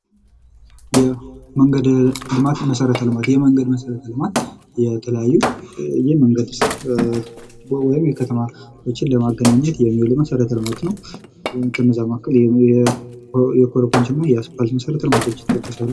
የመንገድ ልማት መሰረተ ልማት የመንገድ መሰረተ ልማት የተለያዩ የመንገድ ወይም የከተማ ለማገናኘት የሚውል መሰረተ ልማት ነው። ከነዛ መካከል የኮረኮችና የአስፓልት መሰረተ ልማቶች ይጠቀሳሉ።